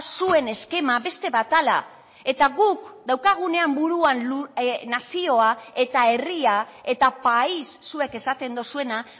zuen eskema beste bat dela eta guk daukagunean burua nazioa eta herria eta país zuek esaten duzuena